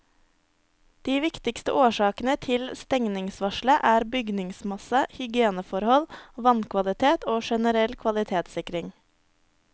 De viktigste årsakene til stengningsvarselet er bygningsmasse, hygieneforhold, vannkvalitet og generell kvalitetssikring.